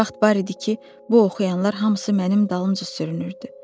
Bir vaxt var idi ki, bu oxuyanlar hamısı mənim dalımca sürünürdü.